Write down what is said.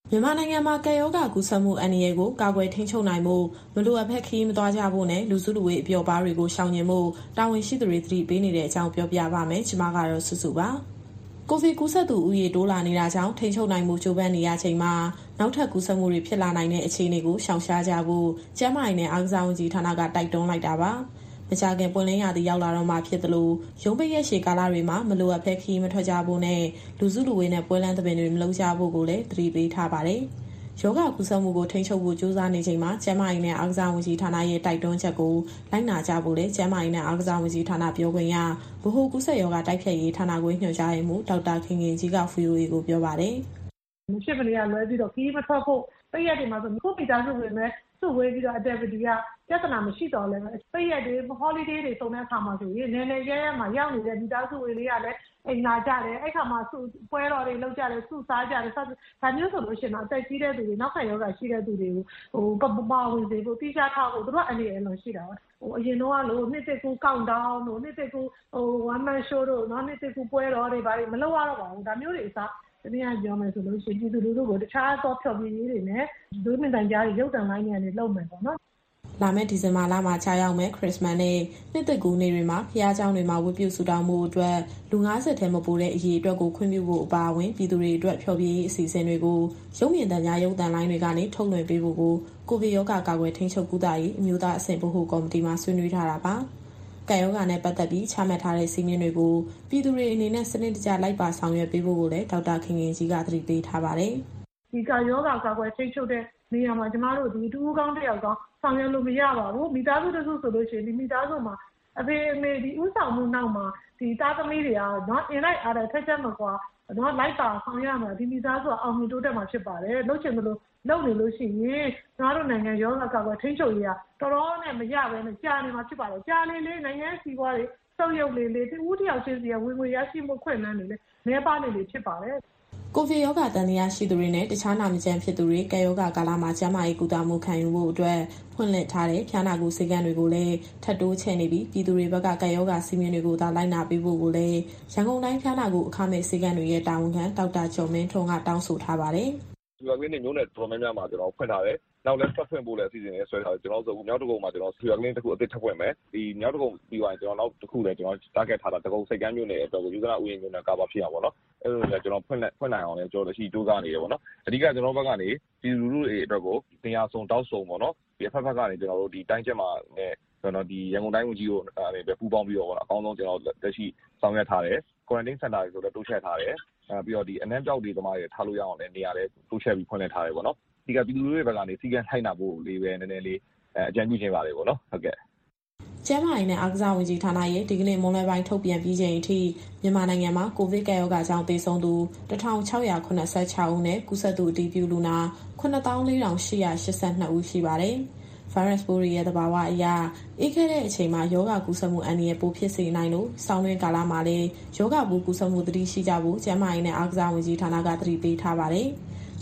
မြန်မာနိုင်ငံမှာ ကပ်ရောဂါကူးစက်မှု အန္တရာယ်ကို ကာကွယ်ထိန်းချုပ်နိုင်ဖို့ မလိုအပ်ပဲ ခရီးမသွားကြဖို့နဲ့ လူစုလူဝေး၊ အပျော်အပါးတွေကို ရှောင်ကြဉ်ဖို့ တာဝန်ရှိသူတွေ သတိပေးနေတဲ့အကြောင်းကို ဗွီအိုအေမြန်မာပိုင်း သတင်းထောက်စုစုက တင်ဆက်ပေးမှာပါ။ ကိုဗစ်ကူးစက်သူဦးရေ တိုးလာနေတာကြောင့် ထိန်းချုပ်နိုင်ဖို့ ကြိုးပမ်းနေရချိန်မှာ နောက်ထပ်ကူးစက်မှုတွေ ဖြစ်လာနိုင်တဲ့ အခြေအနေကို ရှောင်ရှားကြဖို့ ကျန်းမာရေးနဲ့ အားကစားဝန်ကြီးဌာနက တိုက်တွန်းလိုက်တာပါ။ မကြာခင် ပွင့်လင်းရာသီရောက်လာတော့မှာဖြစ်သလို၊ ရုံးပိတ်ရက်ရှည် ကာလတွေမှာ မလိုအပ်ရင်ခရီးမထွက်ကြဖို့နဲ့ လူစုလူဝေးပွဲလမ်းသဘင်တွေ မလုပ်ကြဖို့လည်း သတိပေးထားပါတယ်။ ရောဂါကူးစက်မှုကို ထိန်းချုပ်ဖို့ ကြိုးစားနေချိန်မှာ ကျန်းမာရေးဝန်ကြီးဌာနရဲ့ တိုက်တွန်းချက်ကို လိုက်နာကြဖို့လည်း ကျန်းမာရေးနဲ့အားကစားဝန်ကြီးဌာန ပြောခွင့်ရ၊ ဗဟိုကူးစက်ရောဂါ တိုက်ဖျက်ရေးဌာနခွဲ ညွှန်ကြားရေးမှူး ဒေါက်တာခင်ခင်ကြီးက VOA ကိုပြောပါတယ်။ " မဖြစ်မနေကလွဲပြီးတော့ ခရီးမထွက်ဖို့၊ ပိတ်ရက်တွေမှာဆိုရင် ကိုယ့်မိသားစုဝင်တွေပဲ စုဝေးတာက ပြဿနာမရှိပေမယ့်၊ ရုံးပိတ်ရက်တွေ အားလပ်ရက်တွေစုံတဲ့အခါမှာဆိုရင် အနယ်နယ်အရပ်ရပ်မှာရောက်နေတဲ့ မိသားစုဝင်တွေကလည်း အိမ်လာကြတယ်၊ အဲဒီအခါ ပွဲတော်တွေလုပ်ကြတယ်၊ စုပေါင်းစားကြတယ်။ ဒါမျိုးတွေဟာဆိုရင် အသက်ကြီးတဲ့သူတွေ၊ နောက်ခံရောဂါရှိတဲ့သူတွေကို မပါဝင်စေဖို့၊ သီးခြားထားဖို့လိုတယ်။ သူတို့က ပိုအန္တရာယ်ရှိတာပါ။ အရင်တုန်းကလို နှစ်သစ်ကူး Count Down တို့၊ နှစ်သစ်ကူး One Man Show တို့၊ နှစ်သစ်ကူးပွဲတော်တွေ ဘာတွေ မလုပ်ရတော့ပါဘူး။ ဒါမျိုးတွေအစား ပြည်သူလူထုကို တခြားသောဖျော်ဖြေရေးတွေနဲ့ ရုပ်မြင်သံကြား ရုပ်သံလိုင်းတွေကနေ လုပ်မယ်ပေါ့နော်။ " လာမယ့် ဒီဇင်ဘာလမှာကျရောက်မယ့် ခရစ္စမတ်နဲ့ နှစ်သစ်ကူးနေ့တွေမှာ ဘုရားကျောင်းတွေမှာ ဝတ်ပြုဆုတောင်းဖို့အတွက် လူ ၅၀ ထက်မပိုစေတဲ့အရေအတွက်ကို ခွင့်ပြုနိုင်ဖို့အပါအဝင်၊ ပြည်သူတွေအတွက် ဖျော်ဖြေရေးအစီအစဉ်တွေကို ရုပ်မြင်သံကြား ရုပ်သံလိုင်းတွေကနေ ထုတ်လွှင့်ပေးဖို့ကို ကိုဗစ်ရောဂါကာကွယ်၊ ထိန်းချုပ်၊ ကုသရေး အမျိုးသားအဆင့် ဗဟိုကော်မတီမှာ ဆွေးနွေးထားတာပါ။ ကပ်ရောဂါနဲ့ပတ်သက်ပြီး ချမှတ်ထားတဲ့စည်းမျဉ်းတွေကို ပြည်သူတွေအနေနဲ့ စနစ်တကျလိုက်ပါဆောင်ရွက်ပေးဖို့ကိုလည်း ဒေါက်တာခင်ခင်ကြီးက သတိပေးပါတယ်။ " ဒီကပ်ရောဂါကာကွယ် ထိန်းချုပ်တဲ့နေရာမှာ ကျမတို့သည် တဦးကောင်း တယောက်ကောင်း ဆောင်ရွက်လို့မရပါဘူး။ မိသားစုတစုမှာ အဖေနဲ့အမေရဲ့ ဦးဆောင်မှုနောက်မှာ သားသမီးတွေက အင်တိုက်အားတိုက်ထပ်ကြပ်မကွာ လိုက်ပါဆောင်ရွက်မှ ဒီမိသားစုကအောင်မြင် တိုးတက်မှာဖြစ်ပါတယ်။ လုပ်ချင်သလို လုပ်နေလို့ရှိရင် ကျမတို့နိုင်ငံရောဂါကာကွယ် ထိန်းချုပ်ရေးက တော်တော်နဲ့မရပ်ပဲနဲ့ ကြာနေမှာဖြစ်ပါတယ်။ ကြာလေလေ နိုင်ငံရဲ့စီးပွားရေးတွေ ဆုတ်ယုတ်လေလေ၊ တဦးတယောက်ချင်းစီရဲ့ ဝင်ငွေရရှိမှုအခွင့်အလမ်းတွေလည်း နည်းပါးလေလေဖြစ်ပါတယ်။ " ကိုဗစ်ရောဂါသံသယရှိသူတွေနဲ့ တခြားနာမကျန်းဖြစ်သူတွေ ကပ်ရောဂါကာလမှာ ကျန်းမာရေးကုသမှုခံယူဖို့အတွက် ဖွင့်လှစ်ထားတဲ့ ဖျားနာကုဆေးခန်းတွေကိုလည်း ထပ်တိုးချဲ့နေပြီး ပြည်သူတွေဘက်က ကပ်ရောဂါစည်းမျဉ်းတွေကိုသာ လိုက်နာပေးဖို့ကိုလည်း ရန်ကုန်တိုင်း ဖျားနာကုအခမဲ့ဆေးခန်းတွေရဲ့ တာဝန်ခံ ဒေါက်တာကျော်မင်းထွန်းက တောင်းဆိုထားပါတယ်။ " Fever Clinic မြို့နယ်တော်တော်များများမှာ ဖွင့်ထားတယ်။ နောက်ထပ်ဖွင့်ဖို့လည်း အစီအစဉ်တွေဆွဲထားတယ်။ အခု မြောက်ဒဂုံမှာ Fever Clinic အသစ်တခု ထပ်ဖွင့်မယ်။ ဒီမြောက်ဒဂုံပြီးသွားရင် နောက်တခုလည်း Target ထားထားတာ ဒဂုံဆိပ်ကမ်းမြို့နယ်အတွက်ကို ယုဇနဥယျာဉ်မြို့နယ် Cover ဖြစ်အောင်ပေါ့နော်။ အဲလိုဖွင့်နိုင်အောင်လည်း ကျနော်တို့ကြိုးစားနေတယ်။ အဓိကတော့ ကျနော်တို့ဘက်ကနေ ပြည်သူလူထုတွေအတွက်ကို နေရာစုံ ထောင့်စုံ အဖက်ဖက်ကနေ ရန်ကုန်တိုင်းကျန်းမာရေးနဲ့ ဝန်ကြီးတို့ပူးပေါင်းပြီးတော့ အကောင်းဆုံးဆောင်ရွက်ထားတယ်။ Quarantine Center တွေလည်း တိုးချဲ့ထားတယ်။ အနံ့ပျောက်သူတွေကိုထားဖို့ နေရာလည်းတိုးချဲ့ထားတယ်ပေါ့နော်။ အဓိကတော့ ပြည်သူလူထုတွေဘက်ကနေ စည်းကမ်းလိုက်နာဖို့လေးပဲ အကြံပြုချင်ပါတယ်။ " ကျန်းမာရေးနဲ့ အားကစား ဝန်ကြီးဌာနရဲ့ ဒီကနေ့မွန်းလွဲပိုင်း ထုတ်ပြန်ပြီးချိန်အထိ မြန်မာနိုင်ငံမှာ ကိုဗစ်ကပ်ရောဂါကြောင့် သေဆုံးသူ ၁,၆၇၆ ဦးနဲ့ ကူးစက်သူ အတည်ပြုလူနာ ၇၄,၈၈၂ ဦးရှိပါတယ်။ ဗိုင်းရပ်စ်ပိုးတွေရဲ့ သဘာဝအရ အေးခဲတဲ့အချိန်မှာ ရောဂါကူးစက်မှုအန္တရာယ် ပိုဖြစ်စေနိုင်လို့ ဆောင်းတွင်းကာလမှာလည်း ရောဂါပိုးကူးစက်မှု သတိရှိကြဖို့ ကျန်းမာရေးနဲ့အားကစားဝန်ကြီးဌာနက သတိပေးထားပါတယ်။